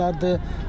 təkərlərdir.